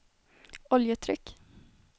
oljetryck